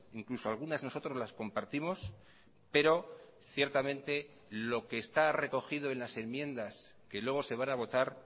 incluso algunas nosotros las compartimos pero ciertamente lo que está recogido en las enmiendas que luego se van a votar